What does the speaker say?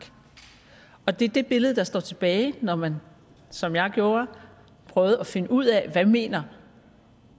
og det er det billede der står tilbage når man som jeg gjorde prøvede at finde ud af hvad mener